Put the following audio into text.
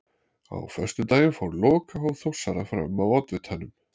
Á föstudaginn fór lokahóf Þórsara fram á Oddvitanum.